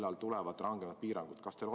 Millal tulevad rangemad piirangud?